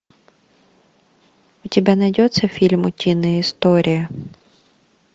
у тебя найдется фильм утиные истории